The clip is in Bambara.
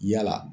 Yala